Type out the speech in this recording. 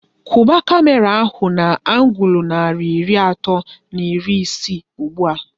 Kwuba kamera ahu na angul narị iri atọ na iri isii ụgbụa!